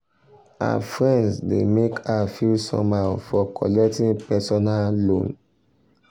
her friends um dey make her feel somehow for collecting um personal um loan.